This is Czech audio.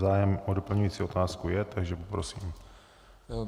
Zájem o doplňující otázku je, takže poprosím.